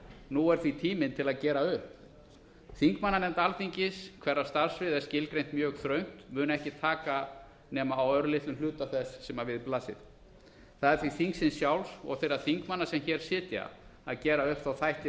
nú er því tíminn til að gera upp þingmannanefnd alþingis hverrar starfssvið er skilgreint mjög þröngt mun ekki taka nema á örlitlum hluta þess sem við blasir það er því þingsins sjálfs og þeirra þingmanna sem hér sitja að gera upp þætti